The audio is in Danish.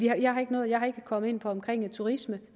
jeg har ikke nået at komme ind på turisme